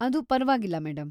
ಅದು ಪರ್ವಾಗಿಲ್ಲ ಮೇಡಂ.